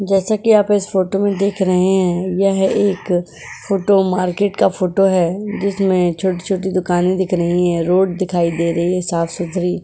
जैसा कि आप इस फोटो में देख रहे हैं। यह एक फोटो मार्केट का फोटो है। जिसमें छोटी-छोटी दुकान दिख रही है रोड दिखाई दे रही है साफ सुथरी।